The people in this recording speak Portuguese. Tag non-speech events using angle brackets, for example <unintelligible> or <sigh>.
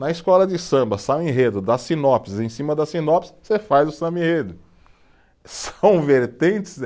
Na escola de samba, <unintelligible> enredo, dá sinopse, em cima da sinopse, você faz o samba e enredo, são vertentes